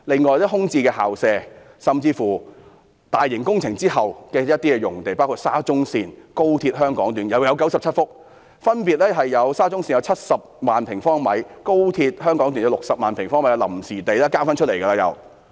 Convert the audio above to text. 此外，空置校舍甚至興建大型工程之後的一些臨時用地，包括沙田至中環線、廣深港高速鐵路香港段共有97幅土地，沙中線及高鐵分別有70萬平方米及60萬平方米的臨時用地，已是再次騰空出來了。